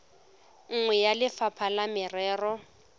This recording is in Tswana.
nngwe ya lefapha la merero